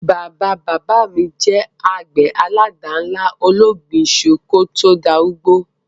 Bàbá-bàbá mi je àgbè àládànlá ológbin isu ki o to darúgbó